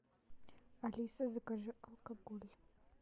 алиса закажи алкоголь